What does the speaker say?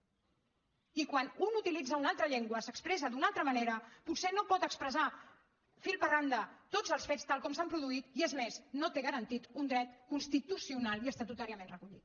i quan un utilitza una altra llengua s’expressa d’una altra manera potser no pot expressar fil per randa tots els fets tal com s’han produït i és més no té garantit un dret constitucional i estatutàriament recollit